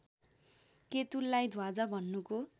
केतुलाई ध्वजा भन्नुको